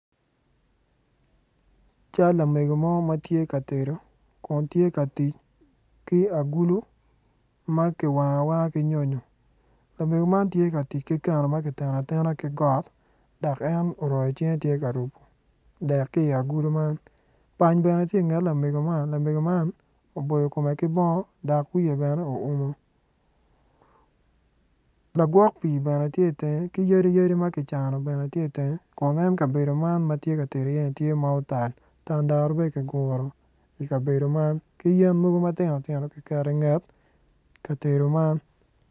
Cal lamego mo ma tye ka tedo Kun tye ka tic ki agulu ma kiwango awanga ki nyonyo lamego man tye ka tic ki keno ma ki teno atena ki got dok en oroyo cinge tye ka rubu dek ki i agulu man pany bene tye inget lamego man lamego man dok kome ki bongo dok wiye bene oumo lagwok pii bene tye itenge ki yadi yadi ma ki cano bene ti itenge Kun en kabedo man ma tye tedo iye-ni tye ma otal tandaru bene ki guro I ka bedo man ki mogo matino tino ki keto inget kabedo man.